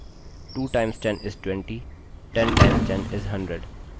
अतः जब तक हम गुणजmultiple का मान बदलते हैं चलिए 12 गुणे का पहाड़ा बोलते हैं